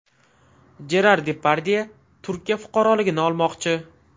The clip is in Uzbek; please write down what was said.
Jerar Depardye Turkiya fuqaroligini olmoqchi.